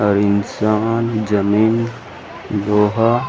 अऊ इंसान जमींन लोहा--